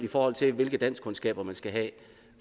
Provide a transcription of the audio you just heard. i forhold til hvilke danskkundskaber man skal have